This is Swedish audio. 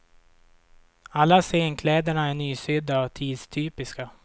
Alla scenkläder är nysydda och tidstypiska.